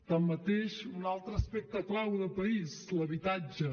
tanmateix un altre aspecte clau de país l’habitatge